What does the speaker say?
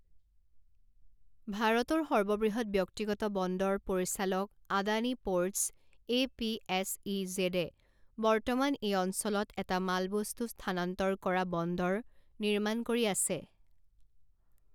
ভাৰতৰ সৰ্ববৃহৎ ব্যক্তিগত বন্দৰ পৰিচালক Adani Ports A P S E জেডে বৰ্তমান এই অঞ্চলত এটা মালবস্তু স্থানান্তৰ কৰা বন্দৰ নিৰ্মাণ কৰি আছে।